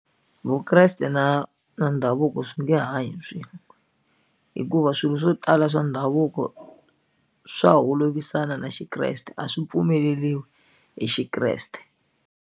Vukreste na na ndhavuko swi nge hanyi swin'we hikuva swilo swo tala swa ndhavuko swa holovisana na xikreste a swi pfumeleliwi hi xikreste.